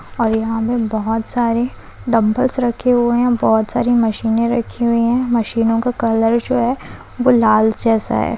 और यहाँ हमें बोहोत सारी डम्बल्स रखे हुए है बोहोत सारी मशीनें रखी हुई है मशीनों का कलर जो है वो लाल जैसा हैं।